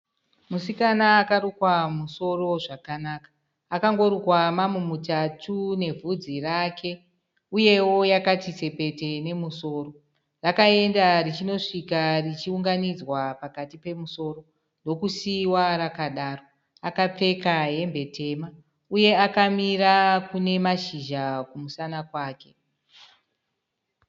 Musikana akarukwa musoro zvakanaka, akangorukwa mamutatu nebvudzi rake uyewo yakati tsepete nemusoro. Rakaenda richisvika unganidzwa pakati pemusoro ndokuisiwa rakadaro. Akapfeka hembe tema uye akamira kune mashizha kumusana kwake.